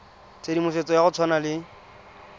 tshedimosetso ya go tshwana le